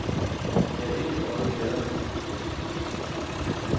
Der er ikke et øje i gaderne. punktum